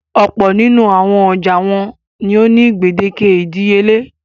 Ọ̀pọ̀ nínú àwọn ọjà wọn ni ó ní gbèdéke ìdíyelé.